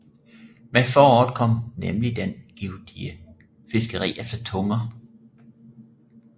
Med foråret kom nemlig det givtige fiskeri efter tunger